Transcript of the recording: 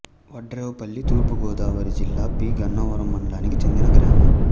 వాడ్రేవుపల్లి తూర్పు గోదావరి జిల్లా పి గన్నవరం మండలానికి చెందిన గ్రామం